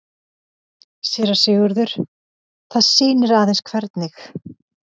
SÉRA SIGURÐUR: Það sýnir aðeins hvernig